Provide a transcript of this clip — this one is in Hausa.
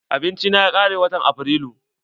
Abinci na ya kare watan Afrilu.